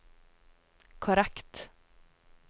korrekt